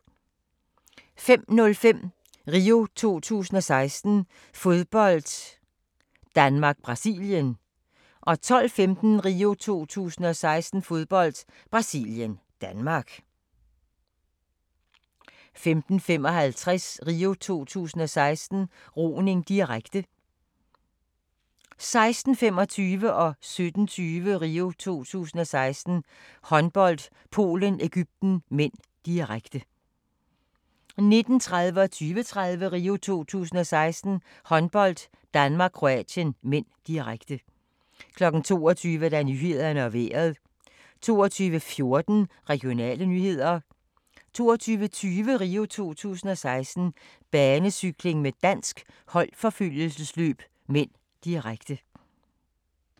05:05: RIO 2016: Fodbold - Danmark-Brasilien 12:15: RIO 2016: Fodbold - Brasilien-Danmark 15:55: RIO 2016: Roning, direkte 16:25: RIO 2016: Håndbold - Polen-Egypten (m), direkte 17:20: RIO 2016: Håndbold - Polen-Egypten (m), direkte 19:30: RIO 2016: Håndbold - Danmark-Kroatien (m), direkte 20:30: RIO 2016: Håndbold - Danmark-Kroatien (m), direkte 22:00: Nyhederne og Vejret 22:14: Regionale nyheder 22:20: RIO 2016: Banecykling med dansk holdforfølgelsesløb (m), direkte